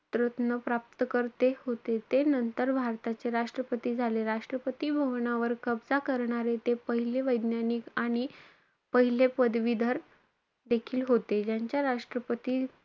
तरत्न प्राप्तकर्ते होते. ते नंतर भारताचे राष्ट्रपती झाले. राष्ट्रपती भवनांवर कब्जा करणारे ते पहिले वैज्ञानिक आणि पहिले पदवीधर देखील होते.